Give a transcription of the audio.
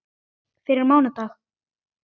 Fyrir mánudag?